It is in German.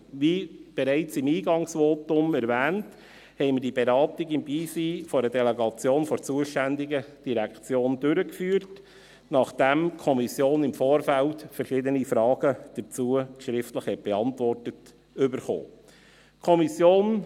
Wie bereits im Eingangsvotum erwähnt, führten wir diese Beratung im Beisein einer Delegation der zuständigen Direktion durch, nachdem die Kommission im Vorfeld verschiedene Fragen dazu schriftlich beantwortet bekommen hatte.